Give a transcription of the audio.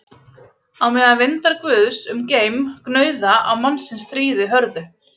Á meðan vindar guðs um geim gnauða á mannsins stríði hörðu